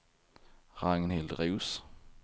Ragnhild Roos